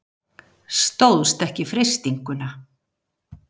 Stóðst ekki freistinguna.